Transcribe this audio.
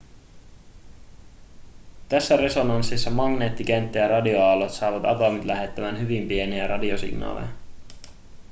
tässä resonanssissa magneettikenttä ja radioaallot saavat atomit lähettämään hyvin pieniä radiosignaaleja